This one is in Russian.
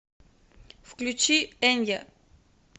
включи энья